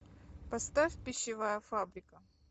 поставь пищевая фабрика